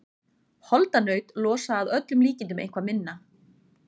Holdanaut losa að öllum líkindum eitthvað minna.